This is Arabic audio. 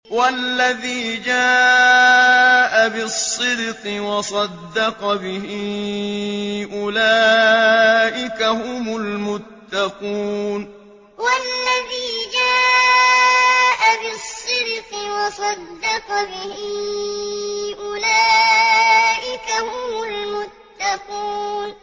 وَالَّذِي جَاءَ بِالصِّدْقِ وَصَدَّقَ بِهِ ۙ أُولَٰئِكَ هُمُ الْمُتَّقُونَ وَالَّذِي جَاءَ بِالصِّدْقِ وَصَدَّقَ بِهِ ۙ أُولَٰئِكَ هُمُ الْمُتَّقُونَ